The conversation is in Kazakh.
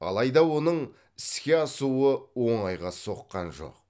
алайда оның іске асуы оңайға соққан жоқ